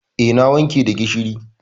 Eh, na wanke da gishiri.